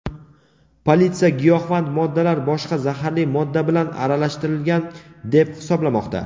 Politsiya giyohvand moddalar boshqa zaharli modda bilan aralashtirilgan deb hisoblamoqda.